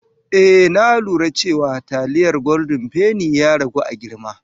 Eh na lura cewa taliyar goldin fenin ya ragu a girma.